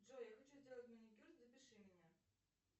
джой я хочу сделать маникюр запиши меня